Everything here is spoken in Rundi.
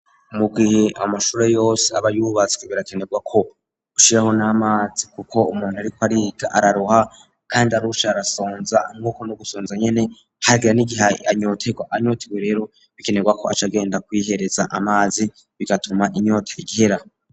Mugihe amashuro yose abayubatswe birakenerwa ko ushiraho n'amazi kuko umuntu ari ko ariko araruha kandi arushe arasonza mw'uko no gusonza nyene hagira n'igih anyotea anyotewe rero bikenerwa ko acaagenda kwihereza amazi bigatuma inyota ihera.